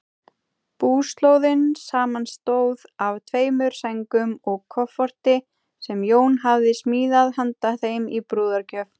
Búslóðin samanstóð af tveimur sængum og kofforti, sem Jón hafði smíðað handa þeim í brúðargjöf.